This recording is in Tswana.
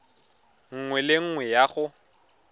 nngwe le nngwe ya go